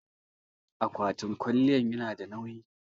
akwatin kwaliyan yanada nawyi